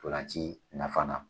NTolanci nafa fana